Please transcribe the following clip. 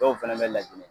Dɔw fɛnɛ bɛ ladili